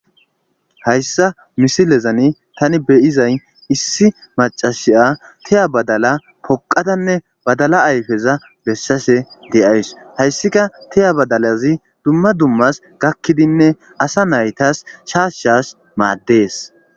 Hayssa misilezani tani beyizay issi macashiya teya badala poqatanne badala ayfeza bessase de7ays hayssika teya badalazi dumma dummas gakkidinne asa naytas shaashshas maaddees.